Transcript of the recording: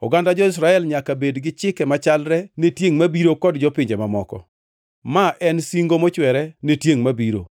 Oganda jo-Israel nyaka bed gi chike machalre ne tiengʼ mabiro kod jopinje mamoko; ma en singo mochwere ne tiengʼ mabiro.